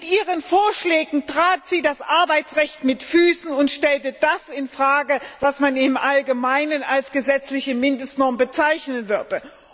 Mit ihren Vorschlägen trat sie das Arbeitsrecht mit Füßen und stellte das in Frage, was man im Allgemeinen als gesetzliche Mindestnorm bezeichnen würde.